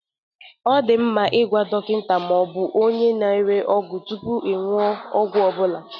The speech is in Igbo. Ọ dị mkpa ịgwa dọkịta ma ọ bụ onye na-ere ọgwụ tupu ị ṅụo ọgwụ ọ bụla.